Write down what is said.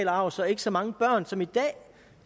arv så ikke så mange børn som i dag